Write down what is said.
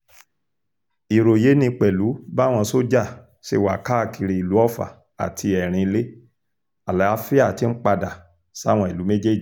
ìròyé ni pẹ̀lú báwọn sójà ṣe wà káàkiri ìlú ọfà àti erinlẹ̀ àlàáfíà tí ń padà sáwọn ìlú méjèèjì